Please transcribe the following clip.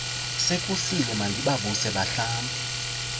sekusile mandibavuse bahlambe